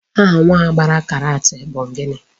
Aha nwa ahụ gbara karat bụ gịnị?